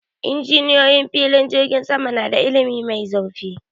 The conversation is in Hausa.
Injiniyoyi filin jirgin sama na da ilimi mai zurfi